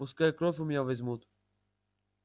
пускай кровь у меня возьмут